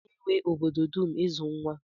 Ọ na-ewe obodo dum ịzụ nwa.